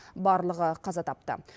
барлығы қаза тапты